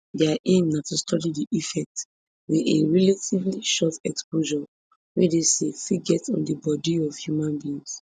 dia aim na to study di effects wey a relatively short exposure wey dey safe fit get on di bodi of human beings